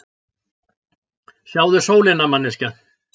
Sjáðu sólina, manneskja!